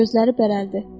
Gözləri bərəldi.